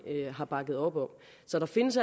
har bakket op om så der findes